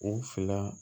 U fila